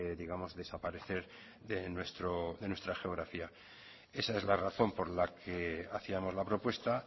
digamos desaparecer de nuestra geografía esa es la razón por la que hacíamos la propuesta